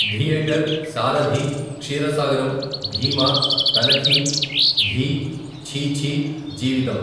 Theatre సారధీ, క్షీర సాగరం, భీమా, తనిఖీ, ఘీ, ఛీ ఛీ, జీవితం.